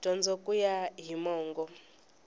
dyondzo ku ya hi mongo